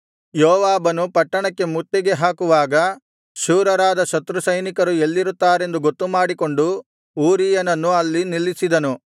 ಯೋವಾಬನು ಪಟ್ಟಣಕ್ಕೆ ಮುತ್ತಿಗೆ ಹಾಕುವಾಗ ಶೂರರಾದ ಶತ್ರುಸೈನಿಕರು ಎಲ್ಲಿರುತ್ತಾರೆಂದು ಗೊತ್ತುಮಾಡಿಕೊಂಡು ಊರೀಯನನ್ನು ಅಲ್ಲಿ ನಿಲ್ಲಿಸಿದನು